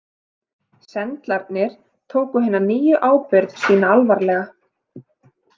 Sendlarnir tóku hina nýju ábyrgð sína alvarlega.